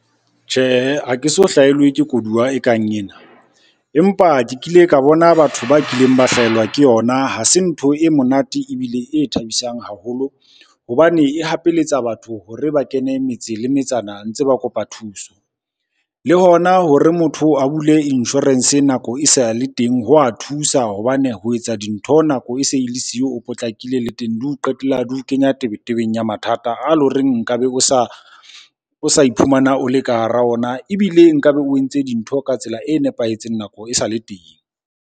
Tjhehe, ha ke so hlahelwe ke koduwa e kang ena, empa ke kile ka bona batho ba kileng ba hlahelwa ke yona, ha se ntho e monate ebile e thabisang haholo hobane e hapeletsa batho hore ba kene metse le metsana ntse ba kopa thuso. Le hona hore motho a bule insurance nako e sa le teng, ho a thusa hobane ho etsa dintho nako e se le siyo, o potlakile le teng di o qetela di ho kenya tebetetseng ya mathata a loreng nka be o sa iphumana o le ka hara ona, ebile nka be o entse dintho ka tsela e nepahetseng nako e sale teng.